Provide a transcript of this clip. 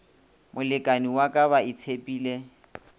molekani wa ka ba itshepile